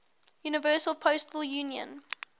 universal postal union